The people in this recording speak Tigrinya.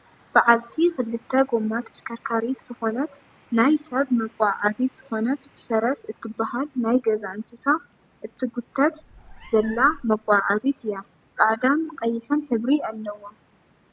ብዓልቲ ክልተ ጎማ ተሽከርካሪት ዝኮነት ናይ ሰብ መጎዓዓዚት ዝኮነት ብፈረስ እትብሃል ናይ ገዛ እንስሳ እትጉተት ዘላ መጎዓዓዚት እያ። ፃዕዳን ቀይሕ ሕብሪ ኣለዎ።